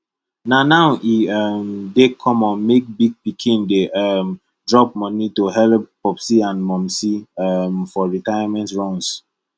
na now e um dey common make big pikin dey um drop money to helep popsi and momsi um for retirement runs